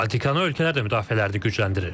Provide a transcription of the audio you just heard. Baltikanı ölkələr də müdafiələrini gücləndirir.